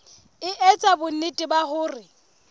e etsa bonnete ba hore